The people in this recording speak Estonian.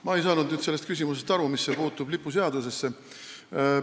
Ma ei saa aru, kuidas see küsimus puutub lipuseadusesse.